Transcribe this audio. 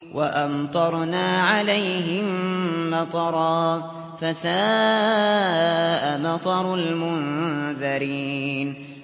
وَأَمْطَرْنَا عَلَيْهِم مَّطَرًا ۖ فَسَاءَ مَطَرُ الْمُنذَرِينَ